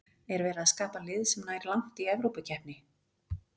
Er verið að skapa lið sem nær langt í Evrópukeppni?